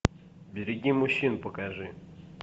береги мужчин покажи